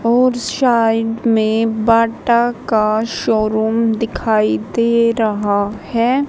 और साइड में बाटा का शोरूम दिखाई दे रहा है।